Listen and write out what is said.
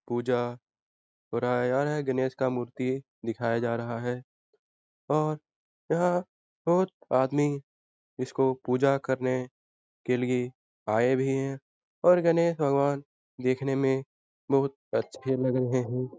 पूजा हो रहा है हर-हर गणेश का मूर्ति दिखाया जा रहा है और यह बहुत आदमी इसको पूजा करने के लिए आए भी हैं और गणेश भगवान देखने में बहुत अच्छे लग रहे हैं।